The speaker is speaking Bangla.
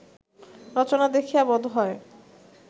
রচনা দেখিয়া বোধ হয়